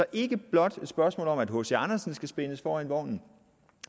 er ikke blot et spørgsmål om at hc andersen skal spændes for vognen